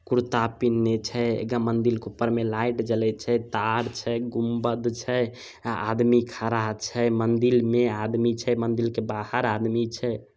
कुर्ता पिननेह छै। मंदिल के ऊपर में लाइट जले छै तार छै गुम्बद छै आदमी खड़ा छै मंदिल में आदमी छै मंदिल के बाहर आदमी छै।